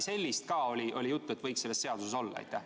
Kas oli juttu, et ka midagi sellist võiks selles seaduses olla?